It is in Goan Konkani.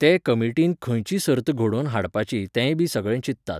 ते कमिटीन खंयची सर्त घडोवन हाडपाची तेंय बी सगळें चिंततात.